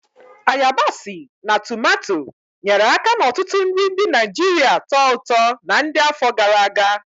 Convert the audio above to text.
Ayabasi na tumato, nyere aka n'ọtụtụ nri ndị Naijiria tọó ụtọ na ndi afọ gara aga.